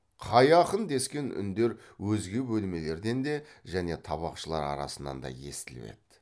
қай ақын дескен үндер өзге бөлмелерден де және табақшылар арасынан да естіліп еді